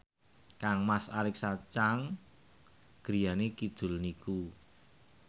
kangmas Alexa Chung griyane kidul niku